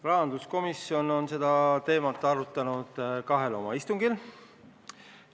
Rahanduskomisjon on seda teemat arutanud kahel istungil.